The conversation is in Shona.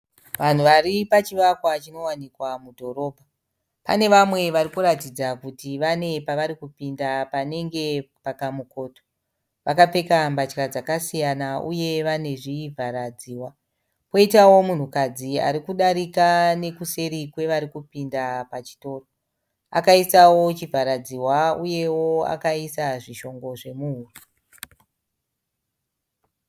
Vanhu varipachivakwa chinowanikwa mudhorobha pane vamwe varikuratidza kuti vane pavarikupinda panenge pakamukoto. Vakapfeka mbatya dzakasiyana uye vane chivhara dzihwa. Koitawo munhukadzi arikudarika nek useri kwevarikupinda pachitoro akaisawo chivhara dzihwa uyewo akaisa zvishongo zvemuhuro.